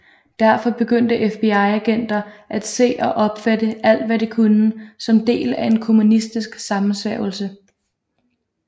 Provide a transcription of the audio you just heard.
Derfor begyndte FBI agenter at se og opfatte alt hvad de kunne som del af en kommunistisk sammensværgelse